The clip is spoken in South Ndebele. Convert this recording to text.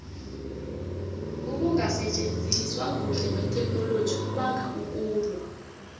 ukungasitjenziswa kuhle kwetheknoloji kubanga ukulwa